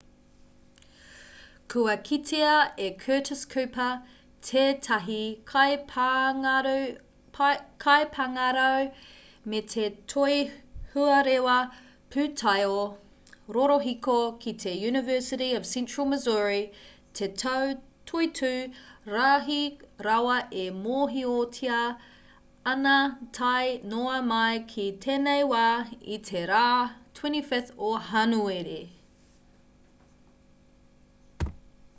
kua kitea e curtis cooper tētahi kaipāngarau me te toihuarewa pūtaiao rorohiko ki te university of central missouri te tau toitū rahi rawa e mōhiotia ana tae noa mai ki tēnei wā i te rā 25 o hānuere